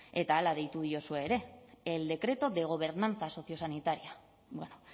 eta hala deitu diozue ere el decreto de gobernanza sociosanitaria bueno